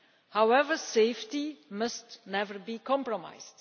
However, safety must never be compromised.